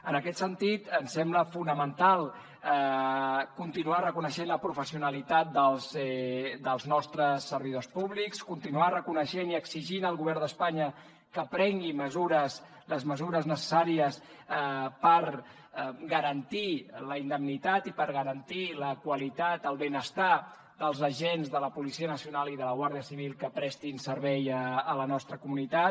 en aquest sentit ens sembla fonamental continuar reconeixent la professionalitat dels nostres servidors públics continuar reconeixent i exigint al govern d’espanya que prengui les mesures necessàries per garantir la indemnitat i per garantir la qualitat el benestar dels agents de la policia nacional i de la guàrdia civil que prestin servei a la nostra comunitat